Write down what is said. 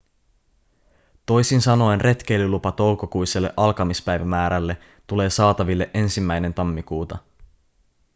toisin sanoen retkeilylupa toukokuiselle alkamispäivämäärälle tulee saataville 1 tammikuuta